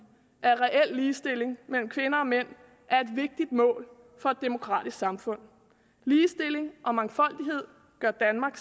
at reel ligestilling mellem kvinder og mænd er et vigtigt mål for et demokratisk samfund ligestilling og mangfoldighed gør danmark